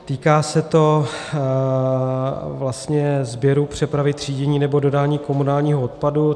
Týká se to vlastně sběru, přepravy, třídění nebo dodání komunálního odpadu.